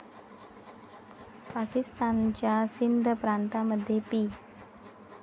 पाकिस्तानच्या सिंध प्रांतामध्ये पी.